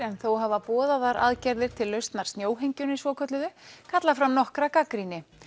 en þó hafa boðaðar aðgerðir til lausnar snjóhengjunni svokölluðu kallað fram nokkra gagnrýni